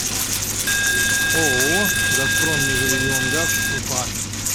ооо газпром межрегионгаз уфа